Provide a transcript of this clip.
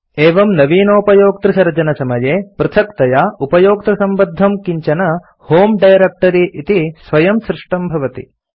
एवं नवीनोपयोक्तृसर्जनसमये पृथक्तया उपयोक्तृसम्बद्धं किञ्चन होमे डायरेक्ट्री इति स्वयं सृष्टं भवति